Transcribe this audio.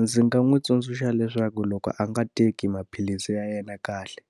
Ndzi nga n'wi tsundzuxa leswaku loko a nga teki maphilisi ya yena kahle,